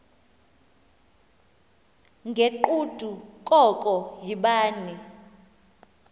ngegqudu koko yibani